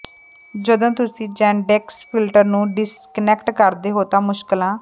ਜਦੋਂ ਤੁਸੀਂ Yandex filter ਨੂੰ ਡਿਸਕਨੈਕਟ ਕਰਦੇ ਹੋ ਤਾਂ ਮੁਸ਼ਕਲਾਂ